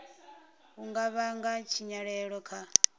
u nga vhanga tshinyalelo kha